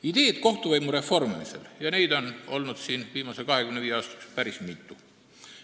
Ideid kohtuvõimu reformimiseks on olnud viimase 25 aasta jooksul päris mitu.